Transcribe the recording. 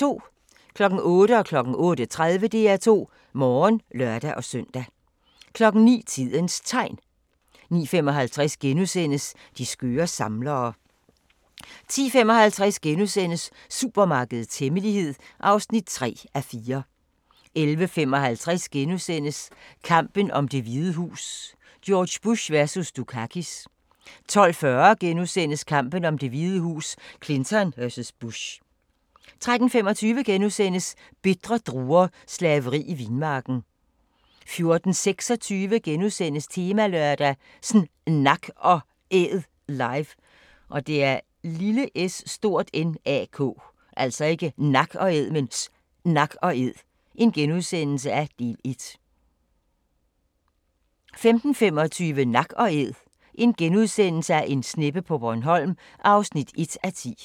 08:00: DR2 Morgen (lør-søn) 08:30: DR2 Morgen (lør-søn) 09:00: Tidens Tegn 09:55: De skøre samlere (7:8)* 10:55: Supermarkedets hemmelighed (3:4)* 11:55: Kampen om Det Hvide Hus: George Bush vs. Dukakis * 12:40: Kampen om Det Hvide Hus: Clinton vs. Bush * 13:25: Bitre druer – slaveri i vinmarken * 14:26: Temalørdag: sNak & Æd live - del 1 * 15:25: Nak & Æd – en sneppe på Bornholm (1:10)*